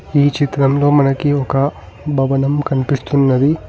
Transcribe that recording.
ఈ చిత్రంలో మనకి ఒక భవనం కన్పిస్తున్నది.